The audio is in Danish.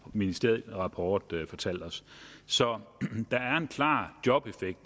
ministeriel rapport fortalt os så der er en klar jobeffekt